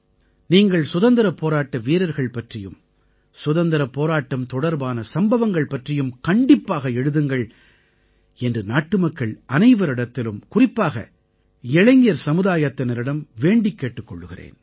நீங்கள் சுதந்திரப் போராட்ட வீரர்கள் பற்றியும் சுதந்திரப் போராட்டம் தொடர்பான சம்பவங்கள் பற்றியும் கண்டிப்பாக எழுதுங்கள் என்று நாட்டுமக்கள் அனைவரிடத்திலும் குறிப்பாக இளைஞர் சமுதாயத்தினரிடம் வேண்டிக் கேட்டுக் கொள்கிறேன்